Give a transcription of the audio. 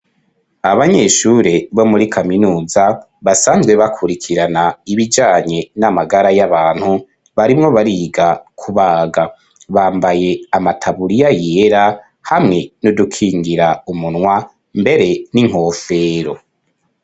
Abanyeshure bo muri kaminuza basanzwe bakurikirana ibijanye n'amagara y'abantu, barimwo bariga kubaga. bambaye amataburiya yera hamwe n'udukingira umunwa mbere n'inkofero.